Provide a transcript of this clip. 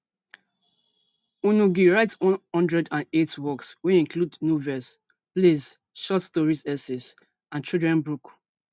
ngugi write one hundred and eight works wey include novels, plays ,short stories essays and children book.